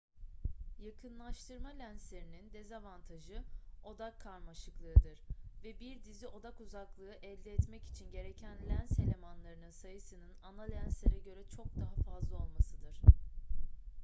yakınlaştırma lenslerinin dezavantajı odak karmaşıklığıdır ve bir dizi odak uzaklığı elde etmek için gereken lens elemanlarının sayısının ana lenslere göre çok daha fazla olmasıdır